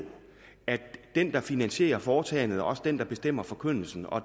at den der finansierer foretagendet også er den der bestemmer forkyndelsen og